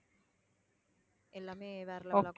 எல்லாமே வேற level